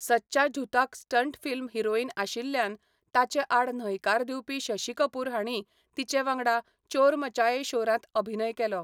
सचा झुथाक stunt film heroine आशिल्ल्यान ताचे आड न्हयकार दिवपी शशी कपूर हांणी तिचे वांगडा चोर मचये शोरांत अभिनय केलो.